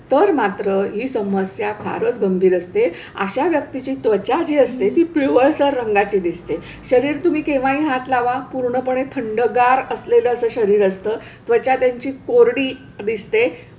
तर मात्र ही समस्या फारच गंभिर असते अशा व्यक्तीची त्वचा जी असते ती पिवळसर रंगाची दिसते. शरीर तुम्ही केव्हाही हात लावा पूर्णपणे थंडगार असलेलं असं शरीर असतं, त्वचा त्यांची कोरडी दिसते.